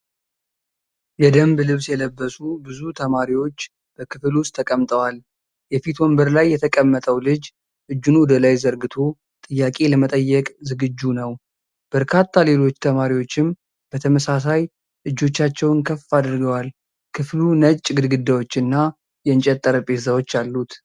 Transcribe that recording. የደንብ ልብስ የለበሱ ብዙ ተማሪዎች በክፍል ውስጥ ተቀምጠዋል። የፊት ወንበር ላይ የተቀመጠው ልጅ እጁን ወደ ላይ ዘርግቶ ጥያቄ ለመጠየቅ ዝግጁ ነው። በርካታ ሌሎች ተማሪዎችም በተመሳሳይ እጆቻቸውን ከፍ አድርገዋል። ክፍሉ ነጭ ግድግዳዎች እና የእንጨት ጠረጴዛዎች አሉት።